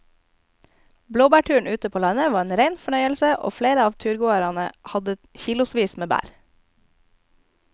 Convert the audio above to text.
Blåbærturen ute på landet var en rein fornøyelse og flere av turgåerene hadde kilosvis med bær.